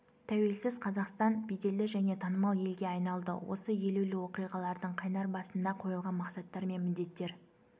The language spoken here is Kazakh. тәуелсіз қазақстан беделді және танымал елге айналды осы елеулі оқиғалардың қайнар басында қойылған мақсаттар мен міндеттер